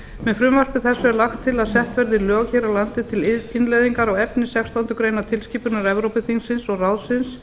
með frumvarpi þessu er lagt til að sett verði lög hér á landi til innleiðingar á efni sextándu grein tilskipunar evrópuþingsins og ráðsins